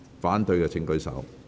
反對的請舉手。